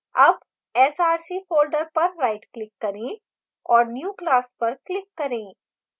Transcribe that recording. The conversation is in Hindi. अब src folder पर rightclick करें औऱ new> class पर click करें